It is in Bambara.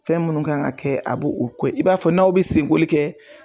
Fɛn mun kan ka kɛ a b'o o kɛ i b'a fɔ n'aw be sen koli kɛ